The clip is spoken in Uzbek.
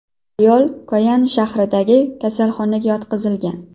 Ayol Koyan shahridagi kasalxonaga yotqizilgan.